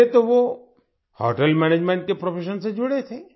पहले तो वो होटेल मैनेजमेंट के प्रोफेशन से जुड़े थे